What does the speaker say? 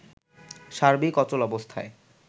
সার্বিক অচলাবস্থায়